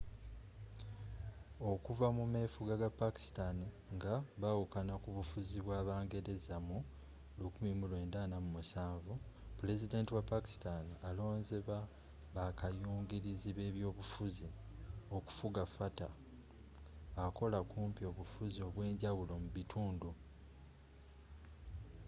okuva ku mefuga ga pakistan nga bawukana kubufuzi bw'aba ngereza mu 1947 pulezidenti wa pakistan alonze ba bakayungirizi b'ebyobufuzi” okufuga fata akola kumpi obufuzi obwenjawulo mu bitundu